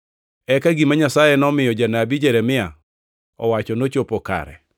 Eka gima Nyasaye nomiyo janabi Jeremia owacho nochopo kare: